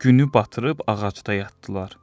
Günü batırıb ağacda yatdılar.